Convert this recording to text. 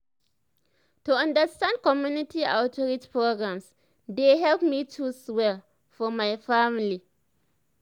to understand community outreach programs dey help me choose well for my family.